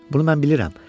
Bunu mən bilirəm.